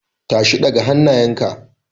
Tashi, ɗaga hannayenka!